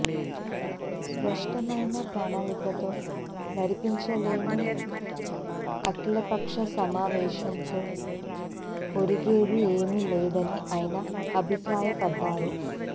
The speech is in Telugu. స్పష్టమైన ప్రణాళికతో నడిపించలేని అఖిలపక్ష సమేశంతో ఒరిగేది ఏమీ లేదని ఆయన అభిప్రాయపడ్డారు